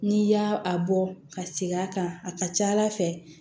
N'i y'a a bɔ ka segin a kan a ka ca ala fɛ